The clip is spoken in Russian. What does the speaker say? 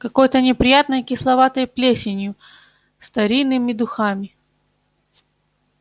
какой-то неприятной кисловатой плесенью старинными духами